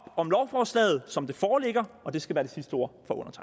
om lovforslaget som det foreligger og det skal være de sidste ord